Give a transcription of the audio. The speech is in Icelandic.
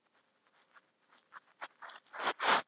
Hann treður aftur í pípuna og kveikir í.